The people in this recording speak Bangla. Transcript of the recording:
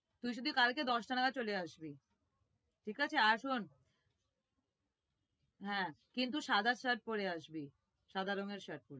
তুই শুধু কালকে দশটা নাগাদ চলে আসবি, ঠিক আছে আর শোন হ্যাঁ কিন্তু সাদা shirt পরে আসবি, সাদা রঙের shirt